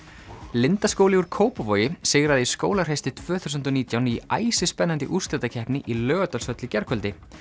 Lindaskóli úr Kópavogi sigraði í Skólahreysti tvö þúsund og nítján í æsispennandi úrslitakeppni í Laugardalshöll í gærkvöldi